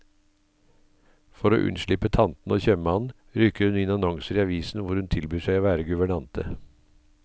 For å unnslippe tantene og kjøpmannen, rykker hun inn annonser i avisen hvor hun tilbyr seg å være guvernante.